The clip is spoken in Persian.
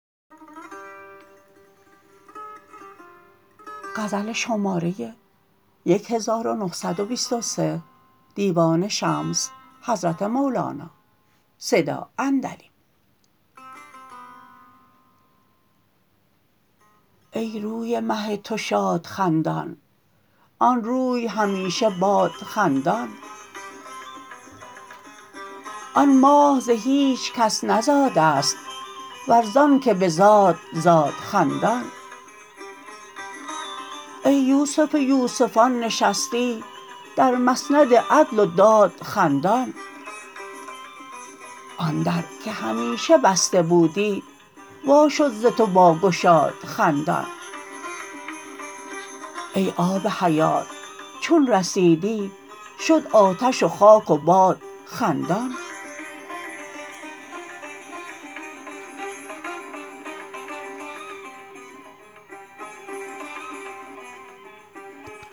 ای روی مه تو شاد خندان آن روی همیشه باد خندان آن ماه ز هیچ کس نزاده ست ور زانک بزاد زاد خندان ای یوسف یوسفان نشستی در مسند عدل و داد خندان آن در که همیشه بسته بودی وا شد ز تو با گشاد خندان ای آب حیات چون رسیدی شد آتش و خاک و باد خندان